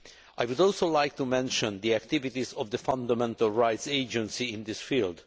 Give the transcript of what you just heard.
I would also like to mention the activities of the Fundamental Rights Agency in this field.